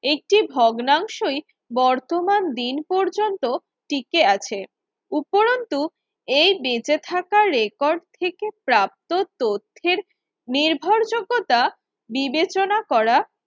একটি ভগ্নাংশই বর্তমান দিন পর্যন্ত টিকে আছে উপরন্তু এই বেঁচে থাকার রেকর্ড থেকে প্রাপ্ত তথ্যের নির্ভরযোগ্যতা বিবেচনা করা